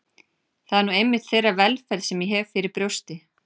Það er nú einmitt þeirra velferð sem ég ber fyrir brjósti.